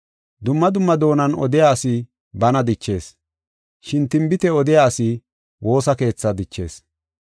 Dumma dumma doonan odiya asi bana dichees. Shin tinbite odiya asi woosa keethaa dichees.